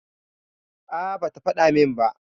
A', bata faɗa min ba.